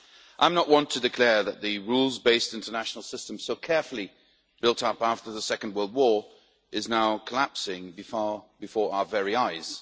I'm not one to declare that the rules based international system so carefully built up after the Second World War is now collapsing before our very eyes.